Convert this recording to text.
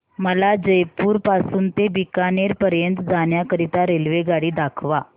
मला जयपुर पासून ते बीकानेर पर्यंत जाण्या करीता रेल्वेगाडी दाखवा